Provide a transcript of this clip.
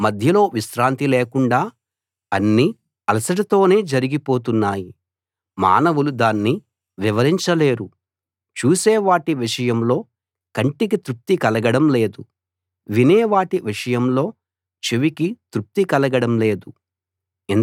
మధ్యలో విశ్రాంతి లేకుండా అన్నీ అలసటతోనే జరిగిపోతున్నాయి మానవులు దాన్ని వివరించలేరు చూసే వాటి విషయంలో కంటికి తృప్తి కలగడం లేదు వినే వాటి విషయంలో చెవికి తృప్తి కలగడం లేదు